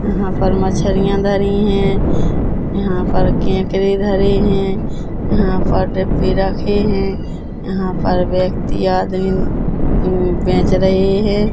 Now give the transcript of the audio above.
यहां पर मछरिया धरी है यहां पर केकरे धरे है यहां पर डब्बे रखे है यहां पर व्यक्ति आदमी अम बेच रहे है।